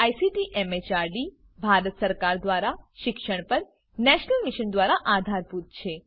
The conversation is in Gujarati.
જે આઇસીટી એમએચઆરડી ભારત સરકાર દ્વારા શિક્ષણ પર નેશનલ મિશન દ્વારા આધારભૂત છે